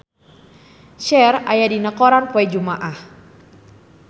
Cher aya dina koran poe Jumaah